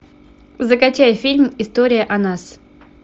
закачай фильм история о нас